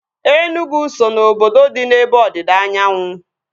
Enugu so ná obodo dị n'ebe ọdịda anyanwụ